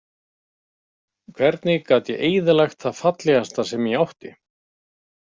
Hvernig gat ég eyðilagt það fallegasta sem ég átti?